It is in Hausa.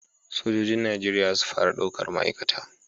Sojojin Najeriya za su fara daukar ma'aikata.